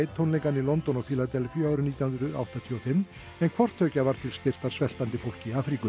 tónleikanna í London og Fíladelfíu árið nítján hundruð áttatíu og fimm en hvort tveggja var til styrktar sveltandi fólki í Afríku